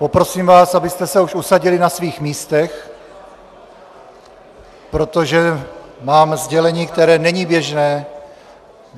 Poprosím vás, abyste se už usadili na svých místech, protože mám sdělení, které není běžné.